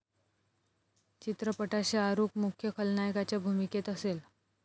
चित्रपटात शाहरूख मुख्य खलनायकाच्या भूमिकेत असेल.